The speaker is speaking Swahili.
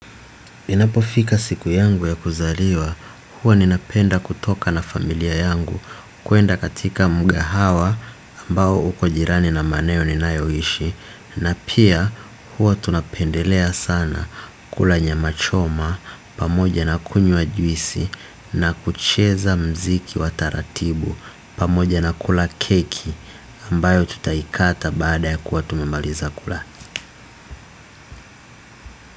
Inapofika siku yangu ya kuzaliwa huwa ninapenda kutoka na familia yangu kuenda katika mgahawa ambao uko jirani na maeneo ninayoishi na pia huwa tunapendelea sana kula nyama choma pamoja na kunywa juisi na kucheza mziki wa taratibu pamoja na kula keki ambayo tutaikata baada ya kuwa tumemaliza kula.